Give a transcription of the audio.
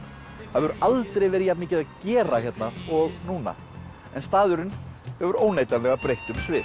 það hefur aldrei verið jafnmikið að gera hérna og núna en staðurinn hefur óneitanlega breytt um svip